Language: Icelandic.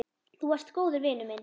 Þú varst góður vinur minn.